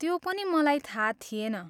त्यो पनि मलाई थाहा थिएन।